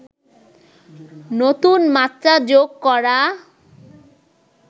নতুন মাত্রা যোগ করা